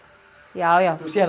já já þú sérð